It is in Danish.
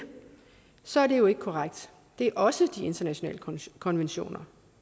så er det jo ikke korrekt det er også de internationale konventioner